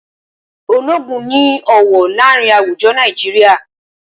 Ológun ni ọwọ láàrin àwùjọ Nàìjíríà